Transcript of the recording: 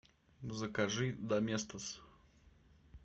закажи доместос